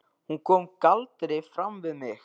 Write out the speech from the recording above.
Hún kom galdri fram við mig.